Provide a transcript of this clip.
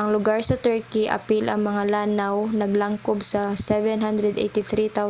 ang lugar sa turkey apil ang mga lanaw naglangkob sa 783,562